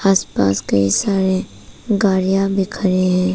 आस पास कई सारे गाड़ियां भी खड़े हैं।